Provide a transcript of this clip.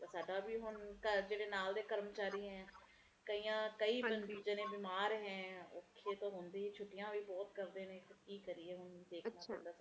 ਤੇ ਸਾਡਾ ਵੀ ਹੁਣ ਘਰ ਜਿਹੜੇ ਨਾਲ ਦੇ ਕਰਮਚਾਰੀ ਐ ਕਈਆਂ ਕਈ ਬੰਦੇ ਜਿਹੜੇ ਬਿਮਾਰ ਨੇ ਔਖੇ ਤਾ ਹੁੰਦੇ ਨੇ ਤੇ ਛੁੱਟਿਆ ਵੀ ਬਹੁਤ ਕਰਦੇ ਕੀ ਕਰੀਏ ਹੁਣ ਦੇਖਣਾ ਪੈਂਦਾ ਸਾਰਾ ਕੁਜ